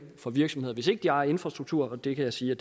for virksomheder hvis ikke de ejer infrastruktur og det kan jeg sige